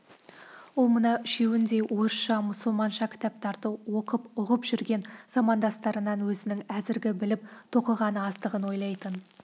ол мына үшеуіндей орысша мұсылманша кітаптарды оқып ұғып жүрген замандастарынан өзінің әзіргі біліп тоқығаны аздығын ойлайтын